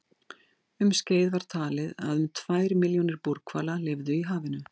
Um skeið var talið að um tvær milljónir búrhvala lifðu í hafinu.